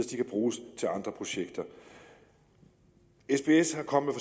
de kan bruges til andre projekter sbs er kommet